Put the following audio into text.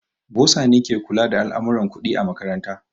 Bosa ne ke kula da al'amurran kuɗi a makaranta.